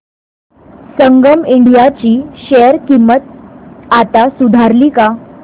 संगम India ची share किंमत आता सुधारली का